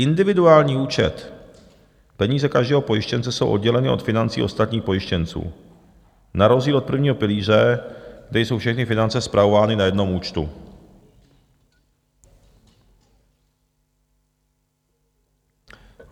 Individuální účet - peníze každého pojištěnce jsou odděleny od financí ostatních pojištěnců na rozdíl od prvního pilíře, kde jsou všechny finance spravovány na jednom účtu.